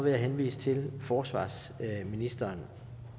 jeg henvise til forsvarsministeren